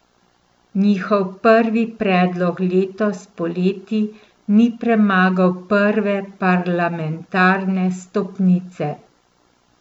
Njihov prvi predlog letos poleti ni premagal prve parlamentarne stopnice.